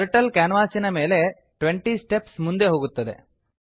turtle ಕ್ಯಾನ್ವಾಸಿನ ಮೇಲೆ 20 steps ಮುಂದೆ ಹೋಗುತ್ತದೆ